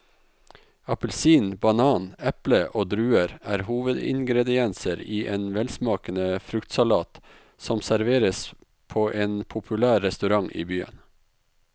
Appelsin, banan, eple og druer er hovedingredienser i en velsmakende fruktsalat som serveres på en populær restaurant i byen.